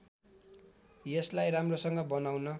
यसलाई राम्रोसँग बनाउन